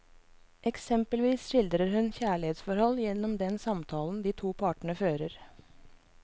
Eksempelvis skildrer hun kjærlighetsforhold gjennom den samtalen de to partene fører.